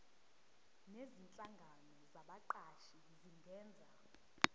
nezinhlangano zabaqashi zingenza